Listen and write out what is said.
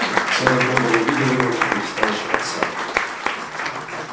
серый бобр увидел его и перестал жевать сало